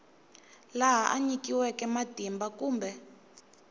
laha a nyikiweke matimba kumbe